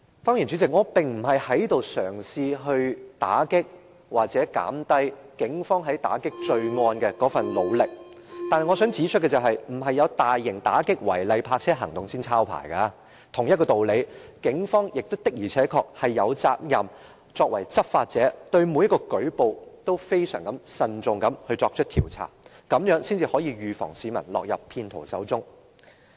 主席，我並不是嘗試打擊或貶低警方在打擊罪案的那份努力，但我想指出，警方不是有大型打擊違例泊車行動時才抄牌，同一道理，警方作為執法者的確有責任對每一個舉報都非常慎重地作出調查，這樣才能預防市民落入騙徒手中。